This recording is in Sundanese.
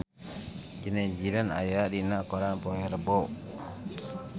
Zidane Zidane aya dina koran poe Rebo